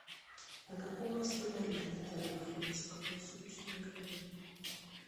на каком расстоянии от отеля находится круглосуточный магазин